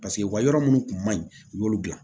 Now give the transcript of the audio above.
Paseke u ka yɔrɔ minnu kun man ɲi u y'olu dilan